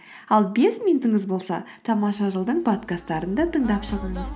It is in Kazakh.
ал бес минутыңыз болса тамаша жыл дың подкасттарын да тыңдап шығыңыз